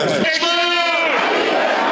Haqq Əli!